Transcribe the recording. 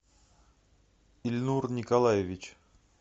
ильнур николаевич